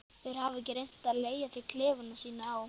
Þeir hafa ekki reynt að leigja þér klefana sína á